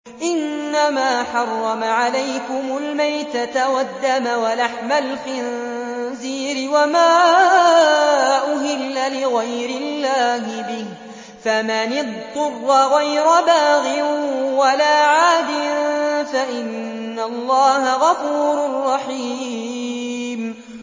إِنَّمَا حَرَّمَ عَلَيْكُمُ الْمَيْتَةَ وَالدَّمَ وَلَحْمَ الْخِنزِيرِ وَمَا أُهِلَّ لِغَيْرِ اللَّهِ بِهِ ۖ فَمَنِ اضْطُرَّ غَيْرَ بَاغٍ وَلَا عَادٍ فَإِنَّ اللَّهَ غَفُورٌ رَّحِيمٌ